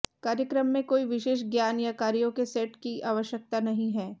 कार्यक्रम में कोई विशेष ज्ञान या कार्यों के सेट की आवश्यकता नहीं है